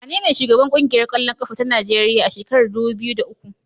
Wanene shugaban ƙungiyar ƙwallon ƙafa ta Najeriya a shekarar dubu biyu da uku?